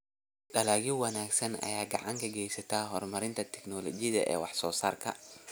Dalagyo wanaagsan ayaa gacan ka geysta horumarinta tignoolajiyada wax soo saarka.